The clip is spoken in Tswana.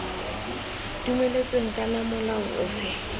dumeletsweng kana iii molao ofe